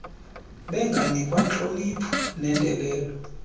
benganikwa ntlonipho nendelelo